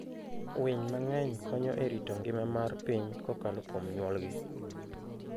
Winy mang'eny konyo e rito ngima mar piny kokalo kuom nyuolgi.